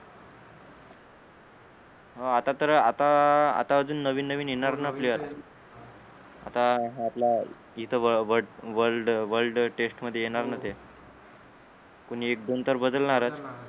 हो आता तर आता आता अजून नवीन नवीन येणारना player आता आपला इथ व world world world test मध्ये येणारना ते कोणी दोन चार बदलणारच